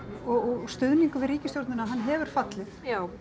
og stuðningur við ríkisstjórnina hann hefur fallið